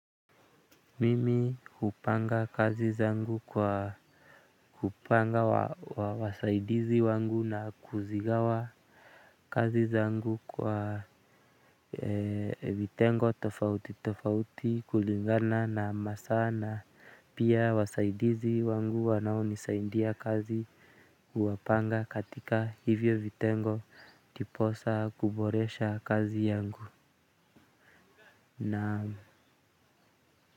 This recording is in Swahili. Mimi hupanga kazi zangu kwa hupanga wasaidizi wangu na kuzigawa kazi zangu kwa vitengo tofauti tofauti kulingana na masaa na pia wasaidizi wangu wanaonisaidia kazi huwapanga katika hivyo vitengo ndiposa kuboresha kazi yangu na.